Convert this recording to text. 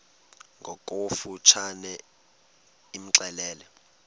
ngokofu tshane imxelele